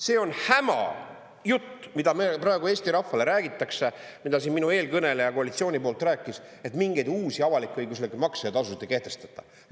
See on hämajutt, mida me praegu Eesti rahvale räägitakse, mida siin minu eelkõneleja koalitsiooni poolt rääkis, et mingeid uusi avalik-õiguslike makse ja tasusid ei kehtestata.